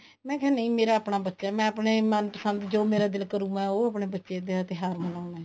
ਮੈਂ ਕਿਹਾ ਨਹੀਂ ਮੇਰਾ ਆਪਣਾ ਬੱਚਾ ਮੈਂ ਆਪਣੇ ਮਨਪਸੰਦ ਜੋ ਮੇਰਾ ਦਿਲ ਕਰੁ ਮੈਂ ਉਹ ਆਪਣੇ ਬੱਚੇ ਦੇ ਤਿਉਹਾਰ ਮਨਾਉਣੇ